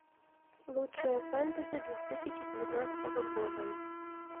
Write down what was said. лучшее фэнтези две тысячи девятнадцатого года